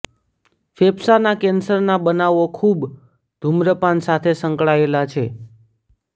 ફેફસાના કેન્સરના બનાવો ખૂબ ધુમ્રપાન સાથે સંકળાયેલા છે